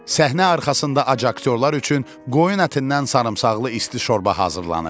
Səhnə arxasında ac aktyorlar üçün qoyun ətindən sarımsaqlı isti şorba hazırlanırdı.